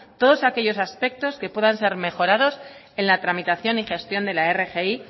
todos aquellos aspectos que puedan ser mejorados en la tramitación y gestión de la rgi